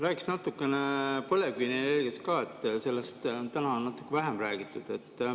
Räägiks natukene põlevkivienergiast, sellest on täna vähem räägitud.